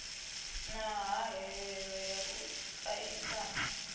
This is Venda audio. na hahelelo ya u aisana